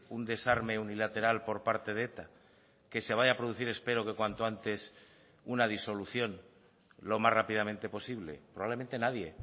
un desarme unilateral por parte de eta que se vaya a producir espero que cuanto antes una disolución lo más rápidamente posible probablemente nadie